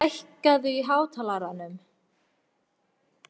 Agnar, hækkaðu í hátalaranum.